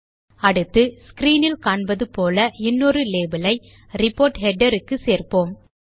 அடுத்து ஸ்க்ரீன் இல் காண்பது போல இன்னொரு லேபல் ஐ ரிப்போர்ட் ஹெடர் க்கு சேர்ப்போம்